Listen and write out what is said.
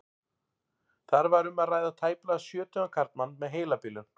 Þar var um að ræða tæplega sjötugan karlmann með heilabilun.